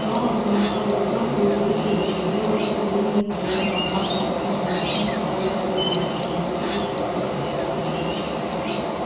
пауэлл замахал рукой и увеличил до предела усиление в своём компактном встроенном в шлем радиопередатчике готовясь крикнуть ещё раз